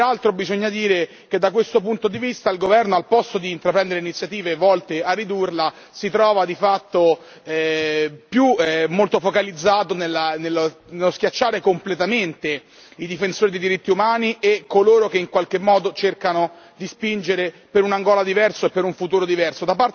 Peraltro, bisogna dire che da questo punto di vista al governo, al posto di intraprendere iniziative volte a ridurla, si trova di fatto molto focalizzato nello schiacciare completamente i difensori dei diritti umani e coloro che in qualche modo cercano di spingere per un Angola diversa e per un futuro diverso.